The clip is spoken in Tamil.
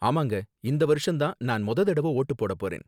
ஆமாங்க, இந்த வருஷம் தான் நான் மொத தடவ வோட்டு போட போறேன்